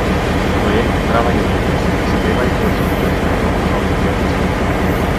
Projekt Zdrava juhica si prizadeva izboljšati prehrano otrok v vrtcih.